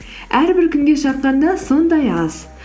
әрбір күнге шаққанда сондай аз